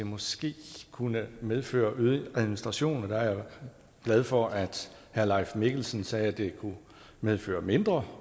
måske kunne medføre øget administration og der er jeg glad for at herre leif mikkelsen sagde at det kunne medføre mindre